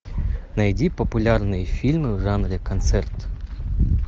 найди популярные фильмы в жанре концерт